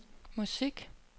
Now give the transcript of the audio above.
musik